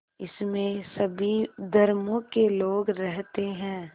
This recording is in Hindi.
इसमें सभी धर्मों के लोग रहते हैं